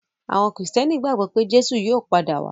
Àwọn Kìrìtẹ́ẹ́nì gbagbọ pé Jésù yóò padà wá.